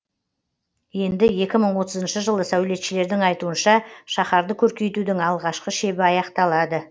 енді екі мың отызыншы жылы сәулетшілердің айтуынша шаһарды көркейтудің алғашқы шебі аяқталады